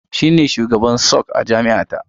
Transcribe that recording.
Shi ne shugaban SUG a jami’a ta.